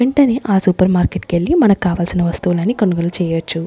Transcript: వెంటనే ఆ supermarket కెళ్ళి మనకావాల్సిన వస్తువులని కొనుగోలు చేయొచ్చు.